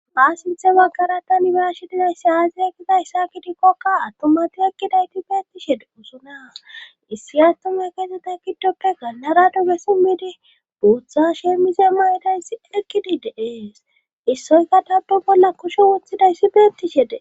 Ha sinthe baggara tanbaashidinayssi aazi ekkidayssa gidikkokka attomati ekkidayti beettishee usuna issi attuma keeseta giddoppe ganlara duge simmidi buutha sheemize mayidayss ekkidi deees issoyka tapdu bolla kushe wuthidayssi beettishede.